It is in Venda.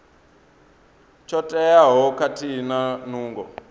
tsho teaho khathihi na nungo